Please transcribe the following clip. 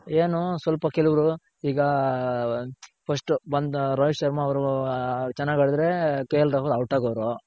ಏನು ಸ್ವಲ್ಪ ಕೆಲವ್ರು ಈಗ first ಬಂದ ರೋಹಿತ್ ಶರ್ಮ ಅವ್ರು ಚೆನಾಗ್ ಆಡಿದ್ರೆ KL ರಾಹುಲ್ out ಆಗೋವ್ರ್.